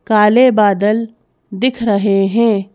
काले बादल दिख रहे हैं।